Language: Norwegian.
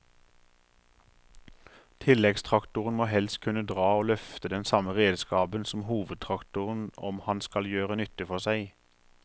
Tilleggstraktoren må helst kunne dra og løfte den samme redskapen som hovedtraktoren om han skal gjøre nytte for seg.